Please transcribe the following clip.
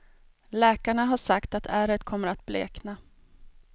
Läkarna har sagt att ärret kommer att blekna.